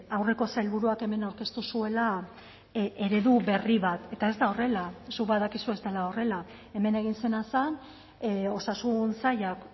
aurreko sailburuak hemen aurkeztu zuela eredu berri bat eta ez da horrela zuk badakizu ez dela horrela hemen egin zena zen osasun sailak